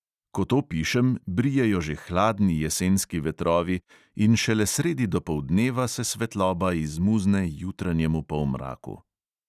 Ko to pišem, brijejo že hladni jesenski vetrovi in šele sredi dopoldneva se svetloba izmuzne jutranjemu polmraku.